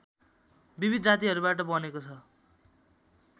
विविध जातिहरूबाट बनेको छ